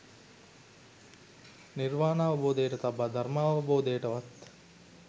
නිර්වාණාවබෝධයට තබා ධර්මාවබෝධයටවත්